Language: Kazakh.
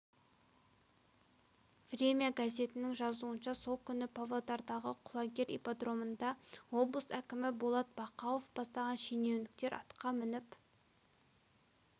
время газетінің жазуынша сол күні павлодардағы құлагер ипподромында облыс әкімі болат бақауов бастаған шенеуніктер атқа мініп